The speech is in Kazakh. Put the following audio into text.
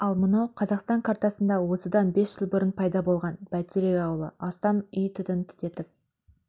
ал мынау қазақстан картасында осыдан бес жыл бұрын пайда болған бәйтерек ауылы астам үй түтін түтетіп